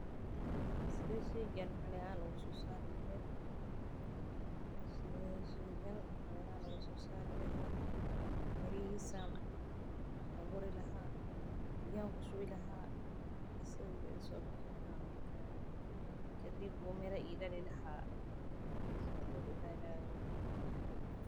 Sidee sheygan maxali ahaan usoo saaray leheed waan abuuri lahaa biya ku shubi lahaa.